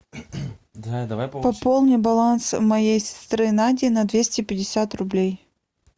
пополни баланс моей сестры нади на двести пятьдесят рублей